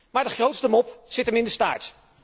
Maar de grootste mop zit hem in de staart!